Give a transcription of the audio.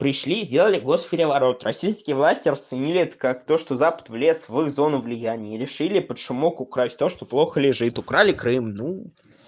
пришли сделали гос переворот российские власти расценили это как то что запад влез в их зону влияния и решили под шумок украсть то что плохо лежит украли крым ну